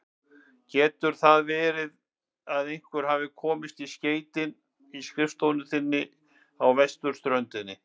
Getur það verið að einhver hafi komist í skeytin í skrifstofu þinni á vesturströndinni?